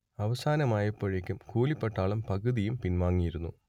അവസാനമായപ്പോഴേക്കും കൂലിപ്പട്ടാളം പകുതിയും പിൻവാങ്ങിയിരുന്നു